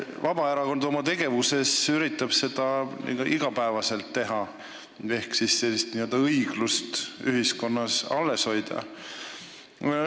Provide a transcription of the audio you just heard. Vabaerakond oma tegevuses üritab seda iga päev teha ehk sellist õiglust ühiskonnas alles hoida.